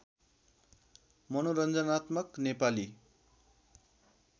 मनोरञ्जनात्मक नेपाली